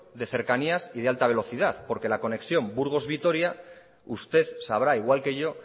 de cercanías y de alta velocidad porque la conexión burgos vitoria usted sabrá igual que yo